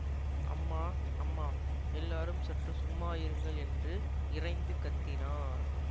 அம்மா அம்மா எல்லாரும் சற்று சும்மா இருங்கள் என்று இரைந்து கத்தினார்